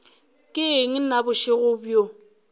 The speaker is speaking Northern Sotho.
ke eng na bošego bjo